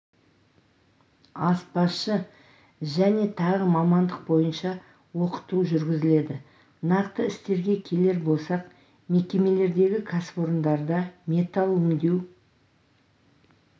аспазшы және тағы мамандық бойынша оқыту жүргізіледі нақты істерге келер болсақ мекемелердегі кәсіпорындарда металл өңдеу